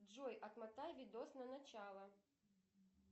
джой отмотай видос на начало